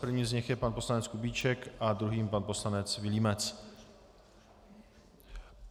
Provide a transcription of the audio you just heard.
Prvním z nich je pan poslanec Kubíček a druhým pan poslanec Vilímec.